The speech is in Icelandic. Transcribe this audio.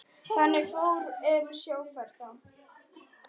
Þannig fór um sjóferð þá.